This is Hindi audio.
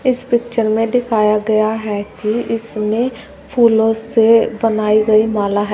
इस पिक्चर में दिखाया गया है कि इसमें फूलों से बनाई गई माला है।